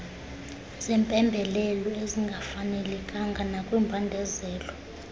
zempembelelo ezingafanelekanga nakwimbandezelo